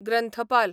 ग्रंथपाल